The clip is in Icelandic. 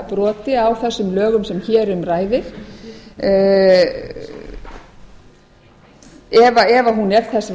broti á þessum lögum sem hér um ræðir ef hún er þess